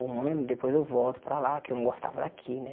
Um ano, depois eu volto para lá, que eu não gostava daqui, né?